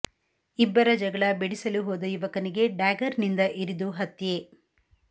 ಇಬ್ಬರ ಜಗಳ ಬಿಡಿಸಲು ಹೋದ ಯುವಕನಿಗೆ ಡ್ಯಾಗರ್ ನಿಂದ ಇರಿದು ಹತ್ಯೆ